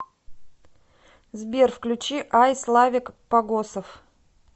сбер включи ай славик погосов